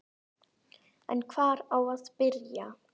En hvar á að byrja?